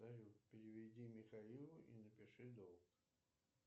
салют переведи михаилу и напиши долг